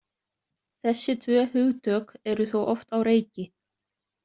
Þessi tvö hugtök eru þó oft á reiki.